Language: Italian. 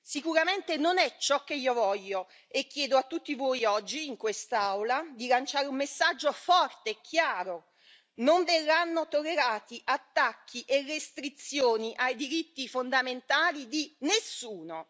Sicuramente non è ciò che io voglio e chiedo a tutti voi, oggi in quest'Aula, di lanciare un messaggio forte e chiaro non verranno tollerati attacchi e restrizioni ai diritti fondamentali di nessuno!